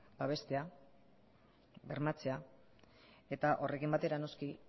babestea bermatzea eta horrekin batera noski